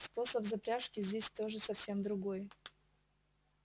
способ запряжки здесь гоже совсем другой